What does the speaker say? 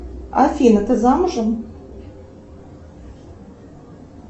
афина ты замужем